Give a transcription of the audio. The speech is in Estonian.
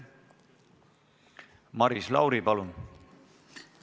Maris Lauri, palun!